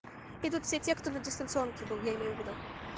и тут все те кто на дистанционке был я имею ввиду